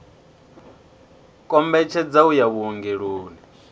kombetshedza u ya vhuongeloni u